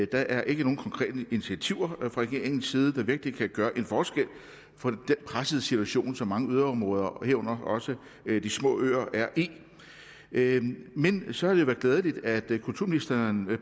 der er ikke nogen konkrete initiativer fra regeringens side der virkelig kan gøre en forskel på den pressede situation som mange yderområder og herunder også de små øer er i men så har det været glædeligt at kulturministeren